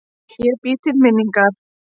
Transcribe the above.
Ég bý til minningar.